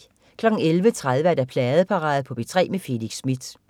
11.30 Pladeparade på P3 med Felix Smith